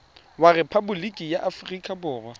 wa rephaboliki ya aforika borwa